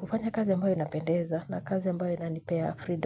kufanya kazi ambayo inapendeza na kazi ambayo inanipea freedom.